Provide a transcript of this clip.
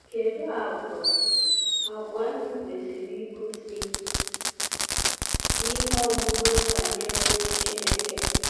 Kedu àgwà àgwà anyị kwesịrị igosi n’ihe ọmụma banyere Chineke?